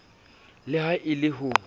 le ha e le ho